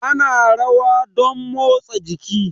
Ana rawa domn motsa jiki